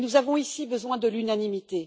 Mais nous avons ici besoin de l'unanimité.